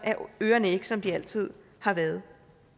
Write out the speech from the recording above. ørerne ikke som de altid har været